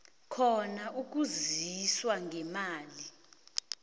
khona ukusizwa ngemali